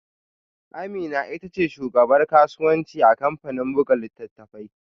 Amina ita ce shugabar kasuwanci a kamfanin buga littattafai